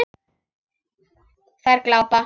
Þær glápa.